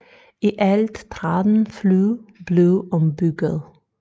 I alt 13 fly blev ombygget